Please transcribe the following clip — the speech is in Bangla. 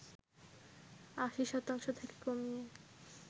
৮০ শতাংশ থেকে কমিয়ে